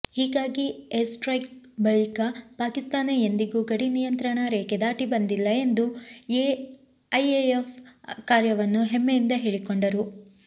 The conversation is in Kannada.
ಹೀಗಾಗಿ ಏರ್ಸ್ಟ್ರೈಕ್ ಬಳಿಕ ಪಾಕಿಸ್ತಾನ ಎಂದಿಗೂ ಗಡಿ ನಿಯಂತ್ರಣಾ ರೇಖೆ ದಾಟಿ ಬಂದಿಲ್ಲ ಎಂದು ಐಎಎಫ್ ಕಾರ್ಯವನ್ನು ಹೆಮ್ಮೆಯಿಂದ ಹೇಳಿಕೊಂಡರು